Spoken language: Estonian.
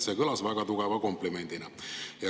See kõlas väga tugeva komplimendina.